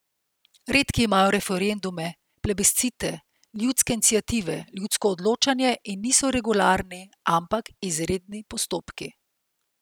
Redki imajo referendume, plebiscite, ljudske iniciative, ljudsko odločanje in niso regularni, ampak izredni postopki.